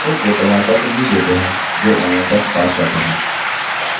उनको प्रमाणपत्र भी देते हैं जो online test pass करते हैं